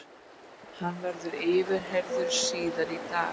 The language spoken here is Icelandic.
Hann verður yfirheyrður síðar í dag